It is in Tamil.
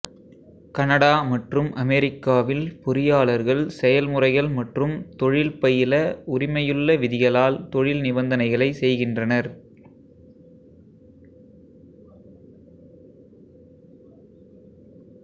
கனடா மற்றும் அமெரிக்காவில் பொறியாளர்கள் செயல்முறைகள் மற்றும் தொழில்பயில உரிமையுள்ள விதிகளால் தொழில் நிபந்தனைகளை செய்கின்றனர்